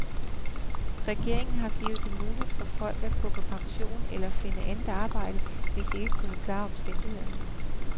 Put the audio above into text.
Regeringen har gjort det muligt for folk at gå på pension eller finde andet arbejde, hvis de ikke kunne klare omstillingen.